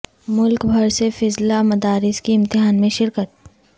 ملک بھر سے فضلاء مدارس کی امتحان میں شرکت